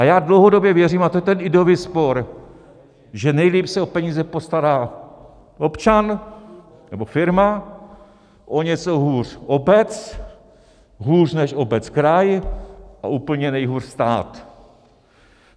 A já dlouhodobě věřím, a to je ten ideový spor, že nejlíp se o peníze postará občan nebo firma, o něco hůř obec, hůř než obec kraj a úplně nejhůř stát.